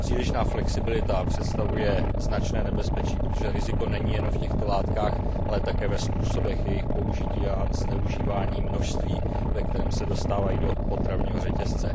Přílišná flexibilita představuje značné nebezpečí, protože riziko není jenom v těchto látkách, ale také ve způsobech jejich použití a zneužívání množství, ve kterém se dostávají do potravního řetězce.